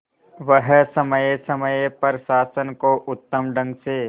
वह समय समय पर शासन को उत्तम ढंग से